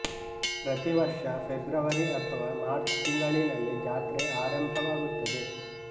ಪ್ರತಿ ವರ್ಷ ಫೆಬ್ರವರಿ ಅಥವಾ ಮಾರ್ಚ್ ತಿಂಗಳಿನಲ್ಲಿ ಜಾತ್ರೆ ಆರಂಭವಾಗುತ್ತದೆ